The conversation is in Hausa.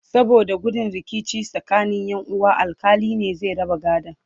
saboda gudun rikici tsakanin Ƴan uwa alkali ne zai raba gadon